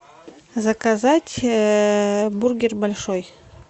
заказать бургер большой